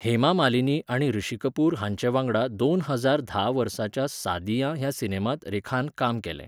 हेमा मालिनी आनी ऋषि कपूर हांचे वांगडा दोन हजार धा वर्साच्या सादियाँ ह्या सिनेमांत रेखानकाम केलें.